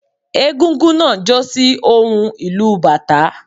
Égúngún náà jó sí ohùn ìlù u bàtá